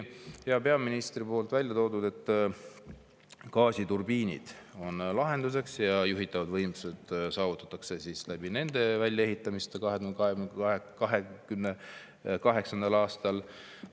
Hea peaminister tõi siin välja, et gaasiturbiinid on lahenduseks ja juhitavad võimsused saavutatakse tänu nende väljaehitamisele 2028. aastal.